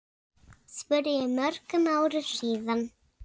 spurði ég mörgum árum síðar.